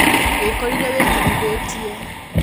wikorire wikirithiitie